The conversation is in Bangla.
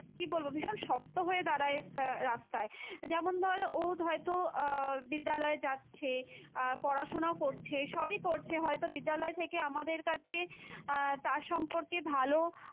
কী বলবো ভীষণ শক্ত হয়ে দাঁড়ায় একটা রাস্তায়, যেমন ধর ও হয়তো আহ বিদ্যালয়ে যাচ্ছে আহ পড়াশোনাও করছে, সবই করছে হয়তো বিদ্যালয় থেকে আমাদের কাছে আহ তার সম্পর্কে ভালো,